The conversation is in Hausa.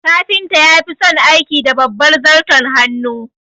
Kafinta ya fison aiki da babbar zarton hannu